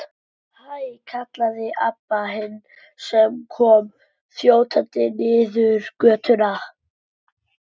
Hæ, kallaði Abba hin sem kom þjótandi niður götuna.